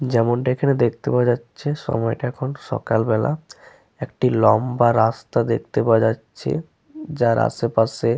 যেমনটি এখানে দেখতে পাওয়া যাচ্ছে সময়টা এখন সকাল বেলা। একটা লম্বা রাস্তা দেখতে পাওয়া যাচ্ছে। যার আশেপাশে--